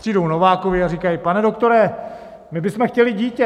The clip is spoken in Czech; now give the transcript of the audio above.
Přijdou Novákovi a říkají: Pane doktore, my bysme chtěli dítě!